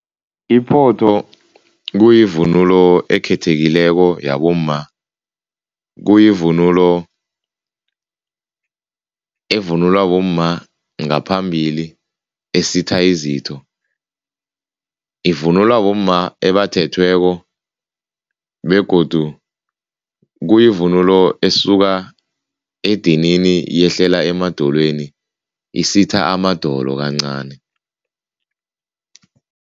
Iphotho kuyivunulo ekhethekileko yabomma, kuyivunulo evunulwa bomma ngaphambili esitha izitho. Ivunulwa bomma ebathethweko begodu kuyivunulo esuka edinini yehlele emadolweni, isitha amadolo kancani.